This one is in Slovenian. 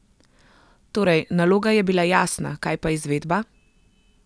Torej, naloga je bila jasna, kaj pa izvedba?